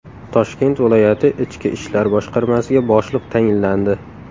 Toshkent viloyati Ichki ishlar boshqarmasiga boshliq tayinlandi.